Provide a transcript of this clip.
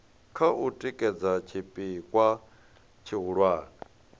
kha u tikedza tshipikwa tshihulwane